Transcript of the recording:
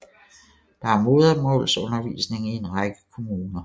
Der er modersmålsundervisning i en række kommuner